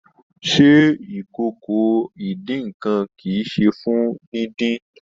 Se ìkòkò idínnkan kí í ṣe fún díndín?